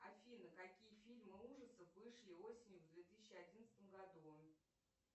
афина какие фильмы ужасов вышли осенью в две тысячи одиннадцатом году